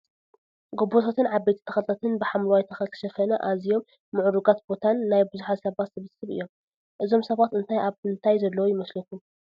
ጎቦታትን ዓበይቲ ተክልታትን ብሓምለዋይ ተኽሊ ዝተሸፈነ ኣዝዮም መዕርግ ቦታን ናይ ብዝሓት ሰባት ስብስብ እዬም። እዞም ሰባት እንታይ ኣብ ምንታይ ዘለው ይመስለኹም?